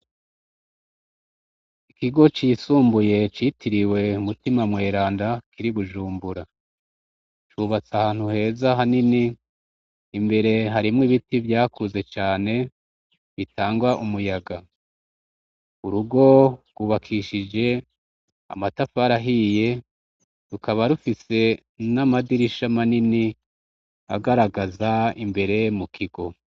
Ikigo cisumbuye citiriwe umutima mweranda kiri bujumbura cubatsa ahantu heza hanini imbere harimwo ibiti vyakuze cane bitangwa umuyaga urugo rwubakishije amatafarahiye rukaba rufise n'amadirisha manini agaragaza imbere mu kigo.